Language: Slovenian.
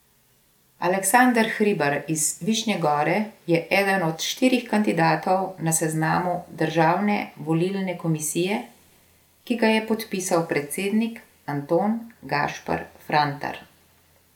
Aleksander Hribar iz Višnje Gore je eden od štirih kandidatov na seznamu Državne volilne komisije, ki ga je podpisal predsednik Anton Gašper Frantar.